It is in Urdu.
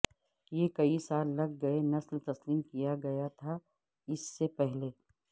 یہ کئی سال لگ گئے نسل تسلیم کیا گیا تھا اس سے پہلے